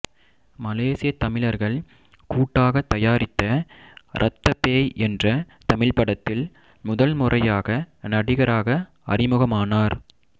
மலேசியத் தமிழர்கள் கூட்டாகத் தயாரித்த இரத்தப் பேய் என்ற தமிழ்ப் படத்தில் முதல் முறையாக நடிகராக அறிமுகமானார்